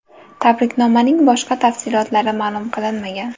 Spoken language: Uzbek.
Tabriknomaning boshqa tafsilotlari ma’lum qilinmagan.